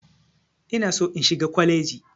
Ina so in shiga kwaleji.